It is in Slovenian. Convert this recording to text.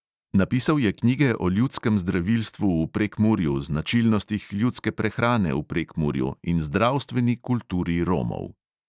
Napisal je knjige o ljudskem zdravilstvu v prekmurju, značilnostih ljudske prehrane v prekmurju in zdravstveni kulturi romov.